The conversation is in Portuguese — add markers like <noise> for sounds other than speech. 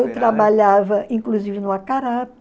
Eu trabalhava, inclusive, no <unintelligible>